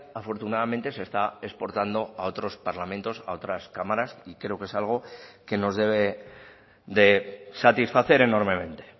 afortunadamente se está exportando a otros parlamentos a otras cámaras y creo que es algo que nos debe de satisfacer enormemente